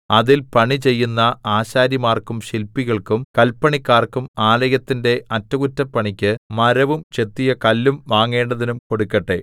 അതിൽ പണിചെയ്യുന്ന ആശാരിമാർക്കും ശില്പികൾക്കും കല്പണിക്കാർക്കും ആലയത്തിന്റെ അറ്റകുറ്റപ്പണിക്ക് മരവും ചെത്തിയ കല്ലും വാങ്ങേണ്ടതിനും കൊടുക്കട്ടെ